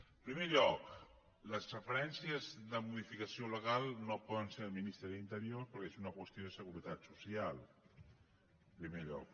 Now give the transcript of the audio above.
en primer lloc les referències de modificació legal no poden ser del ministre d’interior perquè és una qüestió de seguretat social en primer lloc